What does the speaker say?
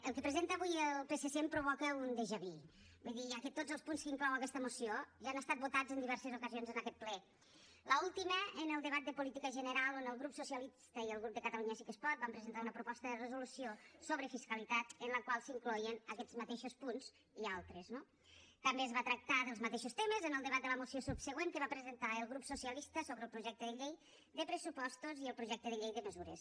el que presenta avui el psc em provoca un vu vull dir ja que tots els punts que inclou aquesta moció ja han estat votats en diverses ocasions en aquest ple l’última en el debat de política general on el grup socialista i el grup de catalunya sí que es pot van presentar una proposta de resolució sobre fiscalitat en la qual s’incloïen aquests mateixos punts i altres no també es va tractar dels mateixos temes en el debat de la moció subsegüent que va presentar el grup socialista sobre el projecte de llei de pressupostos i el projecte de llei de mesures